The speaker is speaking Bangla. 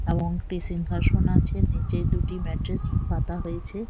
এবং একটি সিংহাসন আছে নিচে দুটি ম্যাট্রেস পাতা হয়েছে।